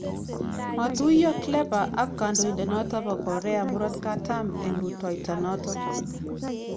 Matuiyo Clapper ak kandoindenoto bo Korea Murotkatam eng rutoitonoto